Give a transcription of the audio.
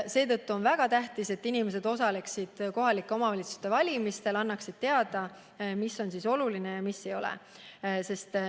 Seetõttu on väga tähtis, et inimesed osaleksid kohalike omavalitsuste valimistel, annaksid teada, mis on neile oluline ja mis ei ole.